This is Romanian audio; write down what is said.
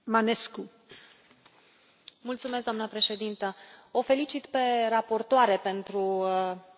Doamnă președinte, o felicit pe raportoare pentru raportul acesta destul de echilibrat.